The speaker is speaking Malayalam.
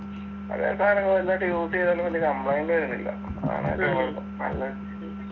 പഴയ സാനങ്ങള് തന്നെ ഇട്ട് use ചെയ്താല് വലിയ complaint വരുന്നില്ല അതാണ് അയിന്റെ കുഴപ്പം